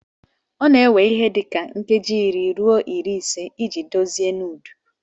Ọ na-ewe ihe dị ka nkeji iri ruo iri na ise iji dozie nudu.